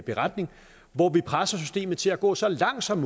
beretning hvor vi presser systemet til at gå så langt som